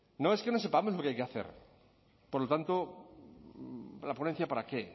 no es que no sepamos lo que hay que hacer por lo tanto la ponencia para qué